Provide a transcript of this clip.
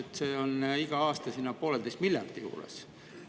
–, et see on iga aasta pooleteise miljardi juures.